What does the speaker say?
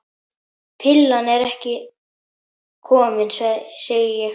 Pillan ekki komin, segi ég.